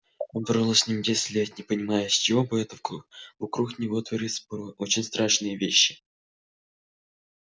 он прожил с ними десять лет не понимая с чего бы это вокруг него творились порой очень странные вещи